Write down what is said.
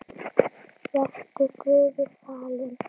Vertu Guði falin.